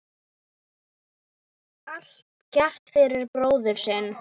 Allt gert fyrir bróðir sinn.